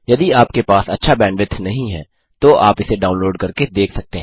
यदि आपके पास अच्छा बैंडविड्थ नहीं है तो आप इसे डाउनलोड करके देख सकते हैं